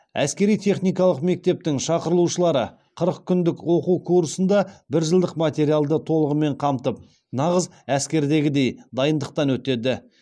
әскери техникалық мектептің шақырылушылары қырық күндік оқу курсында бір жылдық материалды толығымен қамтып нағыз әскердегідей дайындықтан өтеді